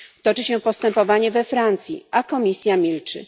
Toczy się postępowanie we Francji, a Komisja milczy.